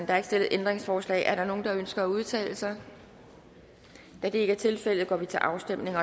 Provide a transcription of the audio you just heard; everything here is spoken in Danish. er ikke stillet ændringsforslag er der nogen der ønsker at udtale sig da det ikke er tilfældet går vi til afstemning